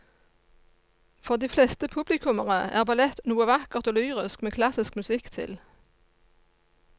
For de fleste publikummere er ballett noe vakkert og lyrisk med klassisk musikk til.